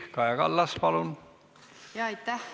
Kaja Kallas, palun!